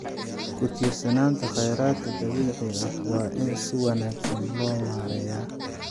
Ku tiirsanaanta kheyraadka dabiiciga ah waa in si wanaagsan loo maareeyaa.